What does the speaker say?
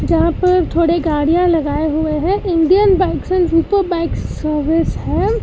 यहां पर थोड़े गाड़ियां लगाए हुए हैं Indian bikes and super bikes service है।